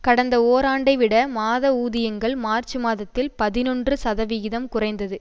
கடந்த ஓராண்டைவிட மாத ஊதியங்கள் மார்ச் மாதத்தில் பதினொன்று சதவிகிதம் குறைந்தது